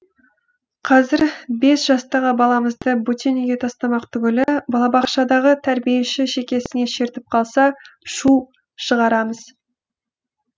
қазір бес жастағы баламызды бөтен үйге тастамақ түгілі балабақшадағы тәрбиеші шекесінен шертіп қалса шу шығарамыз